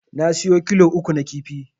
Ya siyo kilo uku na kifi